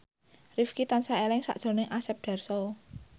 Rifqi tansah eling sakjroning Asep Darso